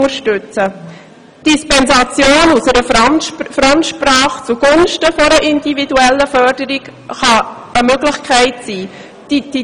Die Dispensation von einer Fremdsprache zugunsten einer individuellen Förderung kann eine Möglichkeit sein.